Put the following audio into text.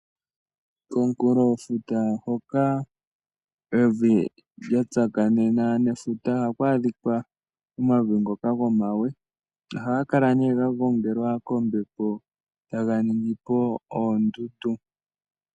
Komunkulofuta hoka evi lya tsakanena nefuta ohaku adhikwa omavi ngoka gomawe, ohaga kala nee ga gongelwa kombepo taga ningi po oondundu.